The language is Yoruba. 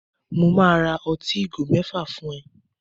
Mo máa ra ọtí ìgò mẹ́fà fún ẹ